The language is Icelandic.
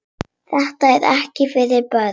Þetta er ekki fyrir börn.